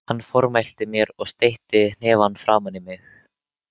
Hann formælti mér og steytti hnefann framan í mig.